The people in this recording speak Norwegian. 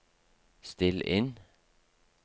still inn